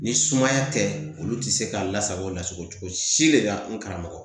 Ni sumaya tɛ olu tɛ se k'a lasago lasago cogo si de la n karamɔgɔ